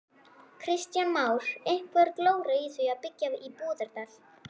Kristján Már: Einhver glóra í því að byggja í Búðardal?